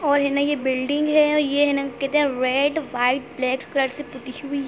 और है ना ये बिल्डिंग है ये है ना रेड वाइट ब्लैक कलर से पुती हुई --